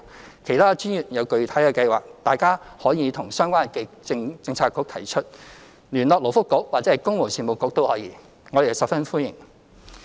若其他專業有具體的計劃，大家可以向相關政策局提出，聯絡勞福局或公務員事務局亦可，我們十分歡迎。